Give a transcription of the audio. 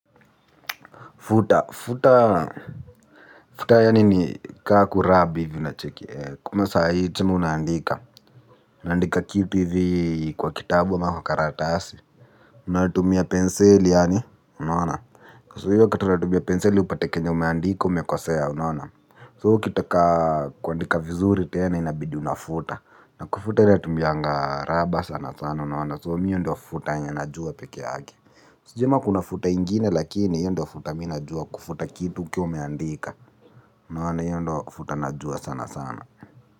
Futa, futa, futa yaani ni kaku rabi vina chiki kuma saa hii chuma unandika. Una andika kitu hivi kwa kitabu ama kwa karatasi. Unatumia penseli yaani, unaona kwa hiyo kitu unatumia penseli upate kenye umeandika umekosea unaona So ukitaka kuandika vizuri tena inabidi unafuta. Na kufuta inatumianga raba sana sana unaona So mimi hiyo ndiyo futa yenye najua peke yake. Sijui kama kuna futa nyingine lakini hiyo ndio futa mimi najua kufuta kitu ukiwa umeandika unaona hiyo ndo futa najua sana sana.